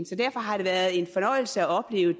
så derfor har det været en fornøjelse at opleve